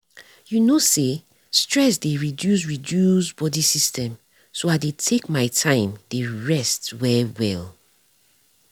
you know say stress dey reduce reduce body system so i deytake my time dey rest well well.